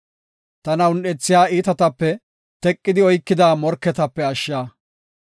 Tana un7ethiya iitatape; teqidi oykida morketape ashsha.